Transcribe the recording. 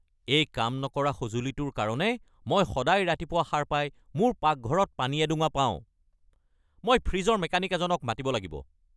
এই কাম নকৰা সঁজুলিটোৰ কাৰণে মই সদায় ৰাতিপুৱা সাৰ পাই মোৰ পাকঘৰত পানী এডোঙা পাওঁ! মই ফ্ৰিজৰ মেকানিক এজনক মাতিব লাগিব।